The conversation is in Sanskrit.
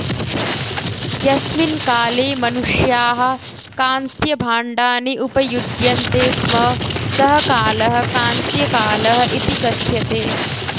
यस्मिन् काले मनुष्याः कांस्यभाण्डानि उपयुज्यन्ते स्म सः कालः कांस्यकालः इति कथ्यते